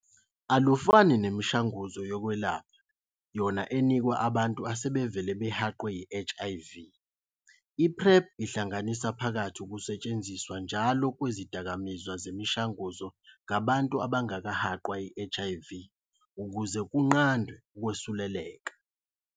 Alufani nemishanguzo yokwelapha yona enikwa abantu asebevele behaqwe yi-HIV, i-PrEP ihlanganisa phakathi ukusetshenziswa njalo kwezidakamizwa zemishanguzo ngabantu abangakahaqwa yi-HIV ukuze kunqandwe ukwesuleleka.